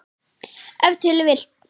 Ef til vill!